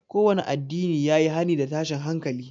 Kowanne addinin ya yi hani da tashin hankali